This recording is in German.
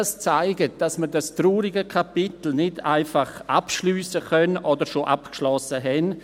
Das zeigt, dass wir dieses traurige Kapitel nicht einfach abschliessen können oder schon abgeschlossen haben.